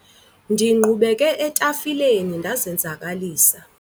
ndingqubeke etafileni ndazenzakalisa